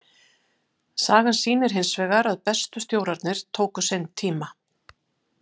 Sagan sýnir hinsvegar að bestu stjórarnir tóku sinn tíma.